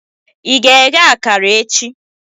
Ị ga-eghe akara echi?